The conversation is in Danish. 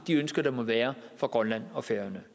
de ønsker der må være fra grønland og færøerne